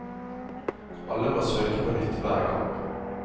Alle må søke på nytt hver gang.